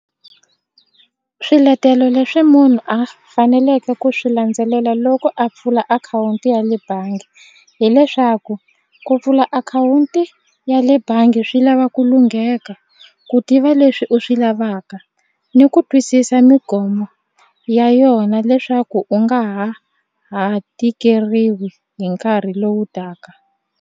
Swiletelo leswi munhu a faneleke ku swi landzelela loko a pfula akhawunti ya le bangi hileswaku ku pfula akhawunti ya le bangi swi lava ku lungheka ku tiva leswi u swi lavaka ni ku twisisa ya yona leswaku u nga ha ha tikeriwi hi nkarhi lowu taka.